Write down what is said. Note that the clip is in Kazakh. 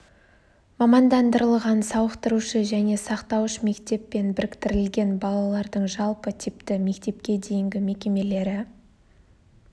мамандандырылған сауықтырушы және сақтауыш мектеппен біріктірілген балалардың жалпы типті мектепке дейінгі мекемелері